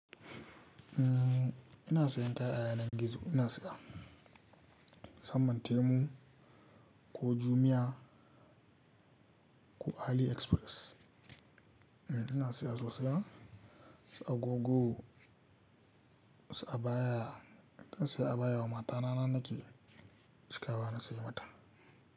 Ina sayan kaya yanar gizo ina siya samman temu ko jumia ko aliexpress. Eh ina siya sosai agogo, sa abaya ina siya abaya wa mata na nan nake cika ba na siya mata.